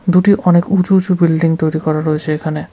দুটি অনেক উঁচু উঁচু বিল্ডিং তৈরি করা রয়েছে এখানে।